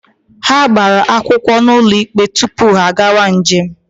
Ha gbara akwụkwọ n'ụlọ ikpe tupu ha agawa njem.